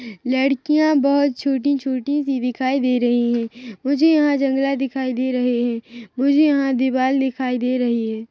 लड़कियाँ बहुत छोटी -छोटी विविकाएं दे रही है मुझे यहाँ जंगला दिखाई दे रहे है मुझे यहाँ दीवाल दिखाई दे रहे हैं।